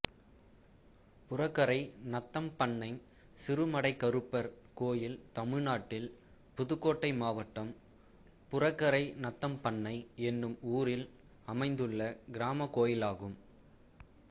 புறகரை நத்தம்பண்ணை சிறுமடைக்கருப்பர் கோயில் தமிழ்நாட்டில் புதுக்கோட்டை மாவட்டம் புறகரை நத்தம்பண்ணை என்னும் ஊரில் அமைந்துள்ள கிராமக் கோயிலாகும்